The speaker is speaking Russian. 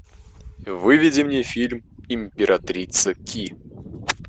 выведи мне фильм императрица ки